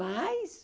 Mas...